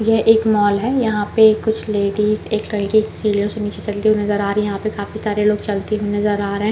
यह एक मॉल है यहाँ पे कुछ लेडीज एक कल सेलर से नीचे चलती हुई नज़र आ रही है यहाँ पे काफी सारे लोग चलते हुए नज़र आ रहे हैं।